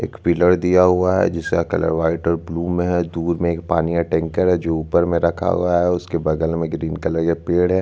photo में बिच में कच्चा रास्ता दिख रहा है राइट साइड में हरे-हरे छोटे-छोटे घास है उसके बगल में कुछ यल्लो कलर के घास है लेफ्ट साइड में मीडियम साइज --